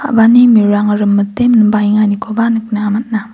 a·bani mirang rimite minbaenganikoba nikna man·a.